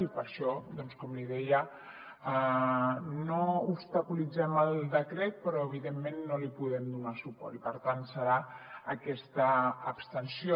i per això com li deia no obstaculitzem el decret però evidentment no li podem donar suport i per tant farem aquesta abstenció